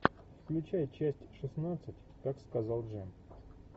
включай часть шестнадцать как сказал джим